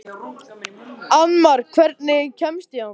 Annmar, hvernig kemst ég þangað?